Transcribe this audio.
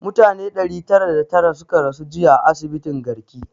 Mutane ɗari tara da tara suka rasu jiya a asibitin garki